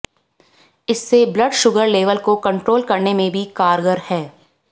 इससे blood sugar level को control करने में भी कारगर है